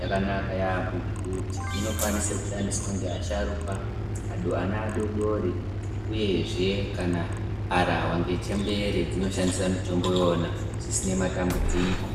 yakanaka yaambo ngekuti inokwanise kushandiswa ngevasharukwa, antu ana adori-dori uyezve kana harahwa ngechembere dzinoshandisa mitombo iwona zvisine matambudziko.